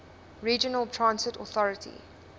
regional transit authority